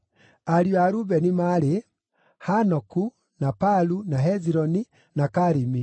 Ariũ a Rubeni maarĩ: Hanoku, na Palu, na Hezironi, na Karimi.